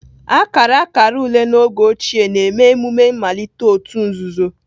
Akara akara ule n'oge ochie na-eme emume mmalite òtù nzuzo